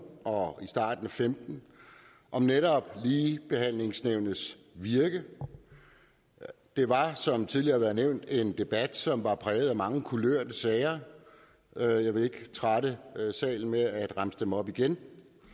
og i starten og femten om netop ligebehandlingsnævnets virke og det var som tidligere har været nævnt en debat som var præget af mange kulørte sager jeg vil ikke trætte salen med at remse dem op igen